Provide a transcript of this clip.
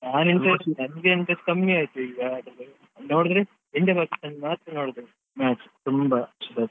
ನಾನ್ ಎಂತ ಎಣಿಸಿದ್ದು ನಂಗೆ interest ಕಮ್ಮಿ ಆಯ್ತು ಈಗ ನೋಡಿದ್ರೆ India Pakistan ಮಾತ್ರ ನೋಡುದು match ತುಂಬಾ .